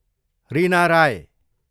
Reena Rai